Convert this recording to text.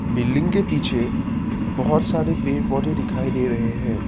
Building के पीछे बहोत सारे पेड़ पौधे दिखाई दे रहे हैं।